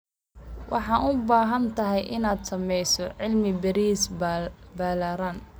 Waxaad u baahan tahay inaad sameyso cilmi baaris ballaaran.